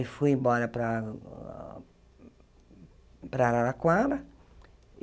Eu fui embora para para Araraquara.